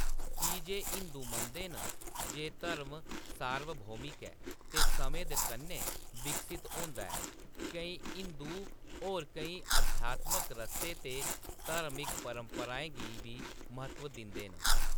की जे हिंदू मनदे न जे धर्म सार्वभौमिक ऐ ते समें दे कन्नै विकसत होंदा ऐ, केईं हिंदू होर केईं अध्यात्मक रस्ते ते धार्मिक परंपराएं गी बी म्हत्तव दिंदे न।